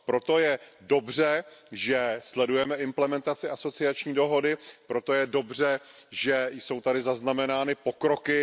Proto je dobře, že sledujeme implementaci asociační dohody, proto je dobře, že jsou tady zaznamenány pokroky.